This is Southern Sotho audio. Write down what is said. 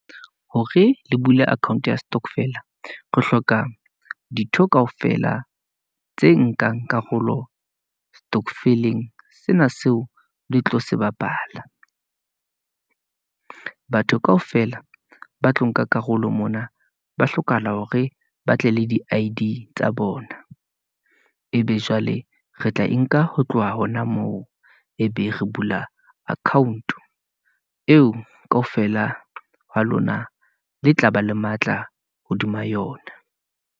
Hore le bule account-o ya stokvel-a, re hloka dintho kaofela tse nkang karolo stokvel-eng. Sena seo le tlo se bapala , batho kaofela ba tlo nka karolo mona, ba hlokahala hore ba tle le di I_D tsa bona. E be jwale re tla e nka ho tloha hona moo, e be re bula account-o, eo kaofela ha lona le tla ba le matla hodima yona.